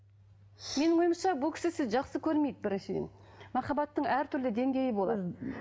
менің ойымша бұл кісі сізді жақсы көрмейді біріншіден махаббаттың әртүрлі деңгейі болады